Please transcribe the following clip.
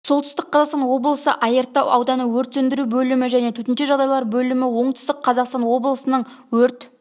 солтүстік қазақстан облысы айыртау ауданы өрт сөндіру бөлімі және төтенше жағдайлар бөлімі оңтүстік қазақстан облысының өрт